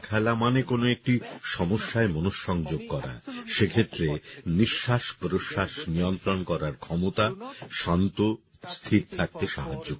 দাবা খেলা মানে কোন একটি সমস্যায় মনঃসংযোগ করা সে ক্ষেত্রে নিঃশ্বাস প্রশ্বাস নিয়ন্ত্রণ করার ক্ষমতা শান্ত স্থির থাকতে সাহায্য করে